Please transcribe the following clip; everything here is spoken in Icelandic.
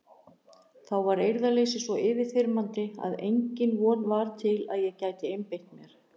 Þá varð eirðarleysið svo yfirþyrmandi að engin von var til að ég gæti einbeitt mér.